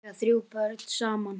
Þau eiga þrjú börn saman.